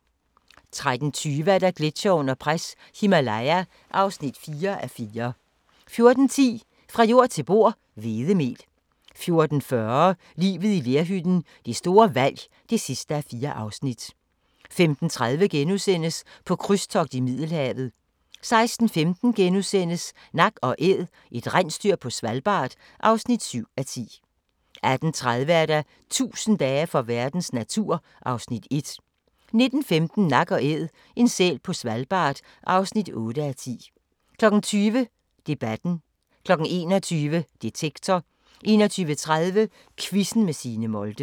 13:20: Gletsjere under pres – Himalaya (4:4) 14:10: Fra jord til bord: Hvedemel 14:40: Livet i lerhytten – det store valg (4:4) 15:30: På krydstogt i Middelhavet * 16:15: Nak & Æd – et rensdyr på Svalbard (7:10)* 18:30: 1000 dage for verdens natur (Afs. 1) 19:15: Nak & Æd – en sæl på Svalbard (8:10) 20:00: Debatten 21:00: Detektor 21:30: Quizzen med Signe Molde